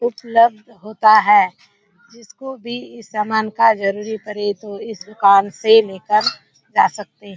उपलब्ध होता है जिसको भी इस सामान का जरूरी पड़े तो इस दुकान से ले कर जा सकते --